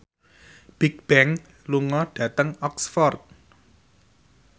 Bigbang lunga dhateng Oxford